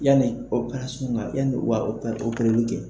Yanni ka yan u ka kɛ